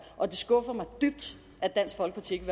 og det skuffer mig dybt at dansk folkeparti ikke